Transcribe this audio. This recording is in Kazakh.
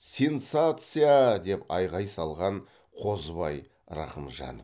сенсация а а а деп айқай салған қозыбай рақымжанов